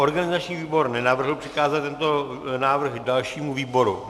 Organizační výbor nenavrhl přikázat tento návrh dalšímu výboru.